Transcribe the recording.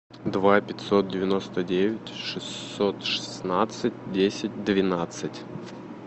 два пятьсот девяносто девять шестьсот шестнадцать десять двенадцать